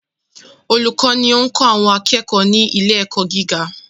Olùkọ́ ni ó ń kọ́ àwọn akẹ́kọ̀ọ́ ni ilé ẹ̀kọ́ gíga.